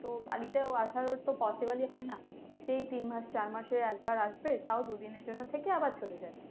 তো বাড়িতে ও আসার ওর তো possible ই হয় না, সেই তিন মাস, চার মাসে একবার আসব। তাও দুদিনের জন্য থেকে আবার চলে যায়